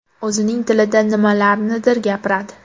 O‘zining tilida nimalarnidir gapiradi.